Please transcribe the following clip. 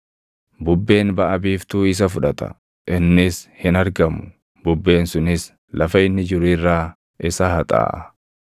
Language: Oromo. Bubbeen baʼa biiftuu isa fudhata; innis hin argamu; bubbeen sunis lafa inni jiru irraa isa haxaaʼa.